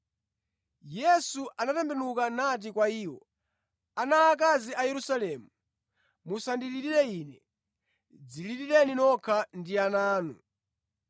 Yesu anatembenuka nati kwa iwo, “Ana aakazi a Yerusalemu, musandilirire Ine; dzililireni nokha ndi ana anu.